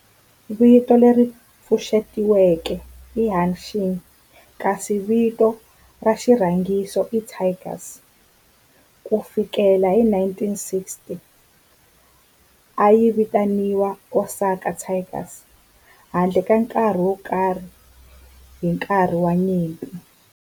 Vito leri pfuxetiweke i Hanshin kasi vito ra xirhangiso i Tigers. Ku fikela hi 1960, a yi vitaniwa Osaka Tigers handle ka nkarhi wo karhi hi nkarhi wa nyimpi.